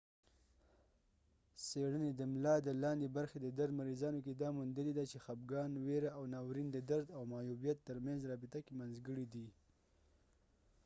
څیړنی د ملا د لاندې برخی د درد مریضانو کې دا موندلی ده چې خپګان ويره او ناورین د درد او معیوبیت تر منځ رابطه کې منځګړی دي